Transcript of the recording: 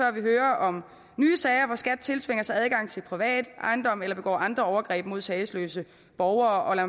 at vi hører om nye sager hvor skat tiltvinger sig adgang til privat ejendom eller begår andre overgreb mod sagesløse borgere og lad